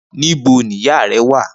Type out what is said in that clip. Nibo ni iya rẹ wa?